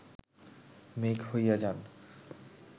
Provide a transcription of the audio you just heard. মেঘ হইয়া যান